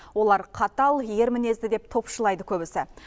олар қатал ер мінезді деп топшылайды көбісі